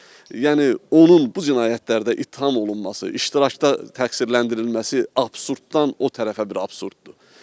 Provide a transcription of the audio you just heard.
Yəni onun bu cinayətlərdə ittiham olunması, iştirakda təqsirləndirilməsi absurddan o tərəfə bir absurddur.